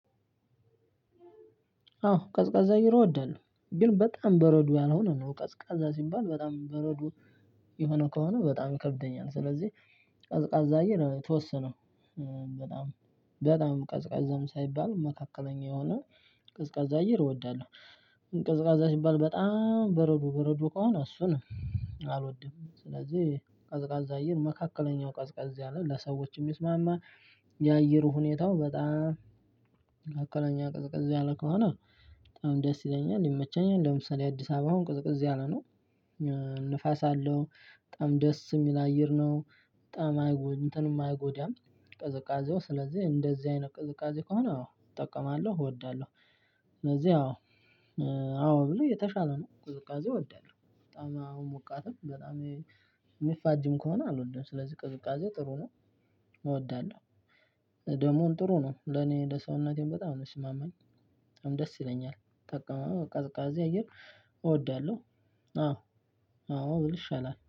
አዎ ቀዝቃዛ አየር እወዳለሁ። ግን በጣም በረዶ ያልሆነ ነው ቀዝቃዛ ሲባል በጣም በረዶ የሆነ ከሆነ በጣም ይከብደኛል። ስለዚህ ቀዝቃዛ አየር የተወሰነ በጣም በጣም ቀዝቃዛም ሳይባል መካከለኛ የሆነ ቀዝቃዛ አየር እወዳለሁ። ቀዝቃዛ ሲባል በጣም በረዶ በረዶ ከሆነ እሱን አልወድም። ስለዚህ ቀዝቃዛ አየር መካከለኛው ቀዝቀዝ ያለ ለሰዎች የሚስማማ የአየሩ ሁኔታው በጣም መካከለኛው ቀዝቀዝ ያለ ከሆነ በጣም ደስ ይለኛል፤ ይመቸኛል። ለምሳሌ የአዲስ አበባ አሁን ቅዝቅዝ ያለ ነው። ንፋስ አለው በጣም ደስ የሚል አየር ነው። በጣም እንትንም አይጎዳም ቅዝቃዜው ስለዚህ እንደዚህ አይነት ቅዝቃዜ ከሆነ አዎ እጠቀማለሁ እወዳለሁ። ስለዚህ አዎ አዎ ብለው የተሻለ ነው ቅዝቃዜ እወዳለሁ በጣም አሁን ሞቃትም በጣም የሚፋጅም ከሆነ አልወድም። ስለዚህ ቅዝቃዜ ጥሩ ነው፤ እወዳለሁ። ደግሞ ጥሩ ነው ለኔ ለሰውነቴም በጣም ነው የሚስማመኝ በጣም ደስ ይለኛል። ታቀመመው ቀዝቃዛ አየር እወዳለሁ አዎ አዎ ብል ይሻላል።